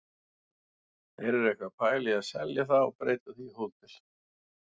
Þeir eru eitthvað að pæla í að selja það og breyta því í hótel.